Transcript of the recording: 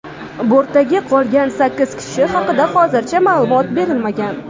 Bortdagi qolgan sakkiz kishi haqida hozircha ma’lumot berilmagan.